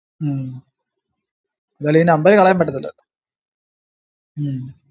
ഉം ഉം എന്തായാലും ഈ number കളയാൻപറ്റത്തില്ല ഉം